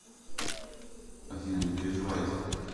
афина не переживайте